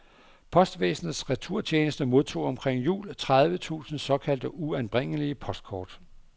Postvæsenets returtjeneste modtog omkring jul tredive tusind såkaldt uanbringelige postkort.